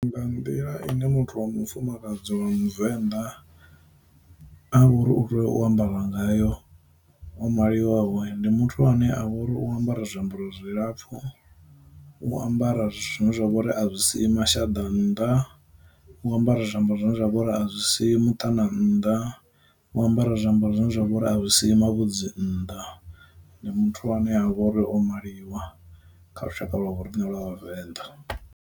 Nga nḓila ine muthu wa mufumakadzi wa muvenḓa a vha uri u tea u ambara ngayo o maliwaho, ndi muthu ane a vha uri u ambara zwiambaro zwilapfhu, u ambara zwithu zwine zwa vhori a zwi si mashaḓa nnḓa, u ambara zwiambaro zwine zwa vhori a zwi si muṱana nnḓa, u ambara zwiambaro zwine zwa vhori a si mavhudzi nnḓa. Ndi muthu ane a vha uri o maliwa kha lushaka lwa vho riṋe lwa vhavenḓa.